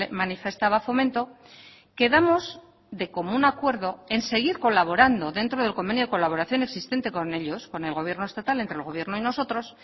manifestaba fomento quedamos de común acuerdo en seguir colaborando dentro del convenio de colaboración existente con ellos con el gobierno estatal entre el gobierno y nosotros